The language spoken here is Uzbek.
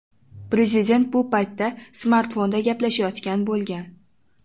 Prezident bu paytda smartfonda gaplashayotgan bo‘lgan.